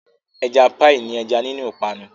Ẹja píì ní ẹja nínú ìpanu.